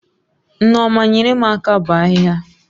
Nneoma nyere m aka bọ ahịhịa